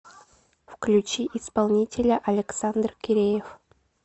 включи исполнителя александр киреев